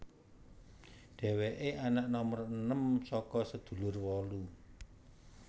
Dheweke anak nomer enem saka sedulur wolu